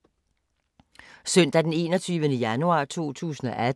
Søndag d. 21. januar 2018